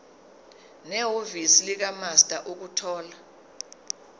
nehhovisi likamaster ukuthola